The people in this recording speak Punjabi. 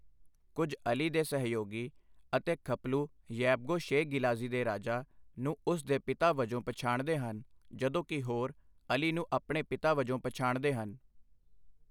ਕੁੱਝ ਅਲੀ ਦੇ ਸਹਿਯੋਗੀ ਅਤੇ ਖਪਲੂ ਯੈਬਗੋ ਸ਼ੇ ਗਿਲਾਜ਼ੀ ਦੇ ਰਾਜਾ ਨੂੰ ਉਸ ਦੇ ਪਿਤਾ ਵਜੋਂ ਪਛਾਣਦੇ ਹਨ, ਜਦੋਂ ਕਿ ਹੋਰ ਅਲੀ ਨੂੰ ਆਪਣੇ ਪਿਤਾ ਵਜੋਂ ਪਛਾਣਦੇ ਹਨ।